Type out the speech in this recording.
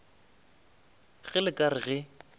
ge le ka re ge